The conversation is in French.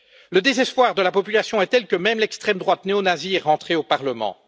Le désespoir de la population est tel que même l'extrême droite néo nazie est rentrée au Parlement.